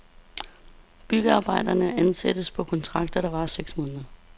Byggearbejderne ansættes på kontrakter, der varer seks måneder.